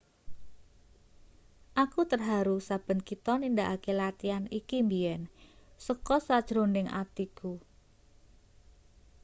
aku terharu saben kita nindakake latian iki mbiyen saka sajroning atiku